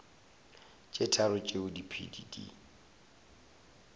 tše tharo tšeo diphedi di